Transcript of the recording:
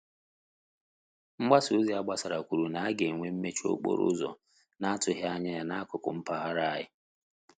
Mgbasa ozi agbasara kwuru na-aga enwe mmechi okporo ụzọ na atughi anya ya na akụkụ mpaghara anyi